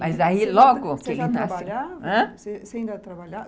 Mas aí logo que ele nasceu... Você já trabalhava? ãh? você já trabalhava?